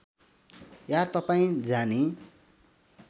या तपाईँ जानी